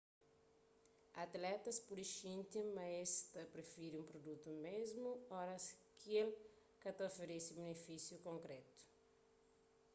atletas pode xinti ma es ta prifiri un prudutu mésmu oras ki el ka ta oferese binifísius konkrétu